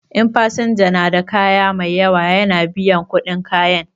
In fasinja na da kaya mai yawa ya na biyan kuɗin kayan.